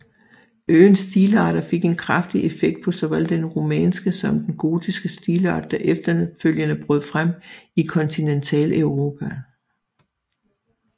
Øens stilarter fik en kraftig effekt på såvel den romanske som den gotiske stilart der efterfølgende brød frem i Kontinentaleuropa